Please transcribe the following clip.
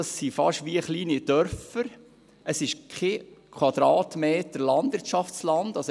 Diese sind wie kleine Dörfer und weisen keinen Quadratmeter Landwirtschaftsland auf.